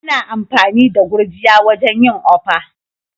Ana amfani da gurjiya wajen yin okpa.